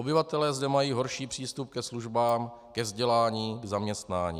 Obyvatelé zde mají horší přístup ke službám, ke vzdělání, k zaměstnání.